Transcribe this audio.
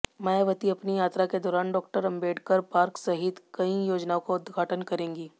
मायावती अपनी यात्रा के दौरान डॉ अंबेडकर पार्क सहित कई योजनाओं का उद्घाटन करेंगी